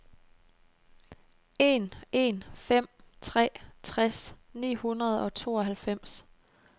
en en fem tre tres ni hundrede og tooghalvfems